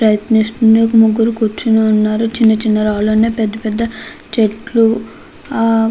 ప్రయత్నిస్తుంది ఒక ముగ్గురు కూర్చుని ఉన్నారు చిన్న చిన్న రాళ్ళు ఉన్నాయ్ పెద్ధ పెద్ధ చెట్లు ఆ --